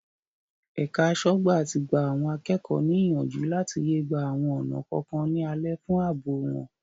Ẹ̀ka aṣọ́gbà tí gba àwọn akẹ́kọ̀ọ́ ní ìyànjú láti yé gba àwọn ọ̀nà kọ̀ọ̀kan ní alẹ̀ fún àbò wọn.